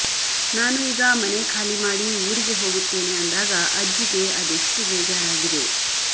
ನಾನು ಈಗ ಮನೆ ಖಾಲಿ ಮಾಡಿ ಊರಿಗೆ ಹೋಗುತ್ತೇನೆ ಅಂದಾಗ ಅಜ್ಜಿಗೆ ಅದೆಷ್ಟು ಬೇಜಾರಾಗಿದೆ